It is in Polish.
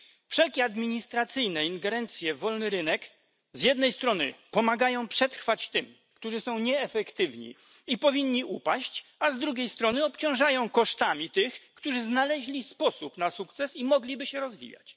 Wszelkie administracyjne ingerencje w wolny rynek z jednej strony pomagają przetrwać tym, którzy są nieefektywni i powinni upaść, a z drugiej strony obciążają kosztami tych, którzy znaleźli sposób na sukces i mogliby się rozwijać.